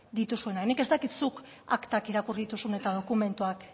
dituzuenak nik ez dakit zuk aktak irakurri dituzun eta dokumentuak